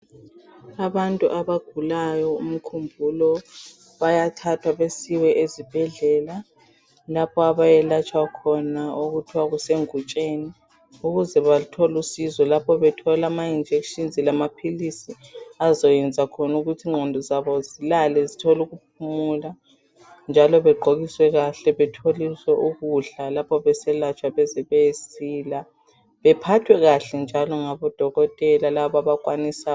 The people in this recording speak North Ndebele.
Abantu abagulayo umkhumbulo bayathathwa besiwe ezibhedlela lapha abayelatshwa khona okuthwa kusengutsheni ukuze bathol' usizo lapho bethol' ama injections lamaphilisi azoyenza khon' ukuth' ingqondo zabo zilale zithol' ukuphumula njalo begqokiswe kahle betholiswe ukudla lapho beselatshwa beze bayesila, bephathwe kuhle njalo ngabodokotela lab' abakwanisa